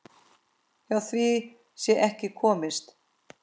Hjá því sé ekki komist.